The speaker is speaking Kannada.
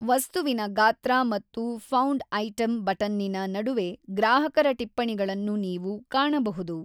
ವಸ್ತುವಿನ ಗಾತ್ರ ಮತ್ತು ಫೌಂಡ್ ಐಟಮ್‌ ಬಟನ್ನಿನ ನಡುವೆ ಗ್ರಾಹಕರ ಟಿಪ್ಪಣಿಗಳನ್ನು ನೀವು ಕಾಣಬಹುದು.